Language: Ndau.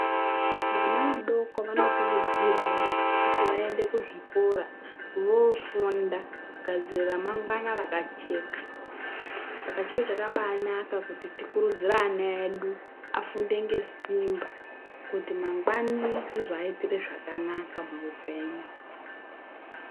Vana vadoko vanokurudzirwa kuti vaende kuzvikora voofunda kugadzirira ramangwana rakajeka. Saka chiro chakabaanaka kuti tikurudzirie ana edu kuti afunde ngesimba kuti mangwani rizovaitira zvakanaka muupenyu.